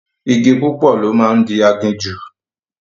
Igi púpọ̀ ló máa ń di aginjù